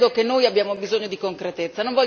Io credo che noi abbiamo bisogno di concretezza.